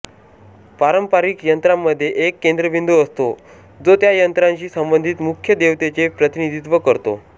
पारंपारिक यंत्रांमध्ये एक केंद्रबिंदू असतो जो त्या यंत्राशी संबंधित मुख्य देवतेचे प्रतिनिधित्व करतो